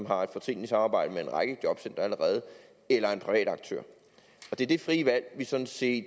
har et fortrinligt samarbejde med en række jobcentre allerede eller en privat aktør det er det frie valg vi sådan set